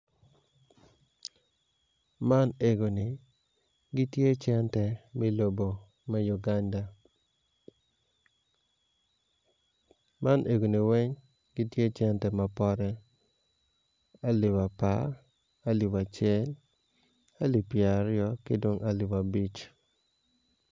Man nenoni gitye cente me lobo me Uganda man enguni weng gitye cente mapote alip apar alip acel alip pyeraryo ki dong alip abic